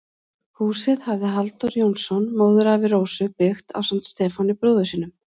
Húsið hafði Halldór Jónsson, móðurafi Rósu, byggt ásamt Stefáni, bróður sínum.